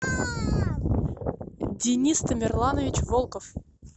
денис тамерланович волков